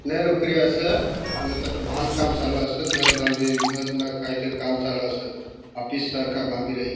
नेरू किया अस न तटबाध काम चालू असं घर बांदी रिया अस आपिस काम त बांधी रहित.